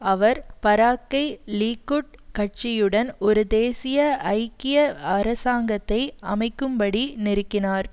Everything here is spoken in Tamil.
அவர் பராக்கை லீக்குட் கட்சியுடன் ஒரு தேசிய ஐக்கிய அரசாங்கத்தை அமைக்கும்படி நெருக்கினார்